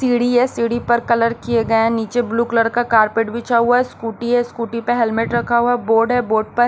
सीढ़ी है सीढ़ी पर कलर किए गए हैं नीचे ब्लू कलर का कारपेट बिछा हुआ है स्कूटी है स्कूटी पर हेलमेट रखा हुआ है बोर्ड है बोर्ड पर--